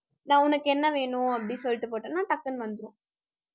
நா~ உனக்கு என்ன வேணும் அப்படின்னு சொல்லிட்டு போட்டேன்னா டக்குன்னு வந்துரும்